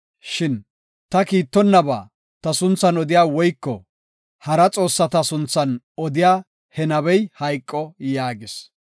Shin ta kiittonnaba ta sunthan odiya woyko hara xoossata sunthan odiya he nabey hayqo” yaagis.